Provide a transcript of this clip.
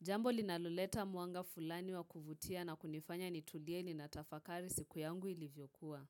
Jambo linaloleta mwanga fulani wa kuvutia na kunifanya nitulie ninatafakari siku yangu ilivyokuwa.